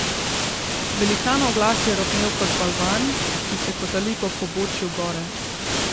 Velikanov glas je rohnel kot balvan, ki se kotali po pobočju gore.